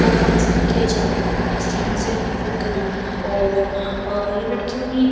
और फंक्शन किये जाते हैं। इस तरफ फंक्शन करी हुए हैं और अं ये लड़कीओ ने --